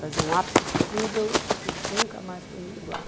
Fazia um apple strudel que nunca mais comi igual.